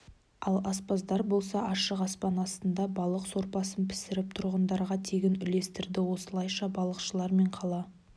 ал аспаздар болса ашық аспан астында балық сорпасын пісіріп тұрғындарға тегін үлестірді осылайша балықшылар мен қала